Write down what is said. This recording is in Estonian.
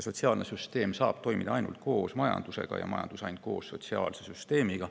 Sotsiaalne süsteem saab toimida ainult koos majandusega ja majandus ainult koos sotsiaalse süsteemiga.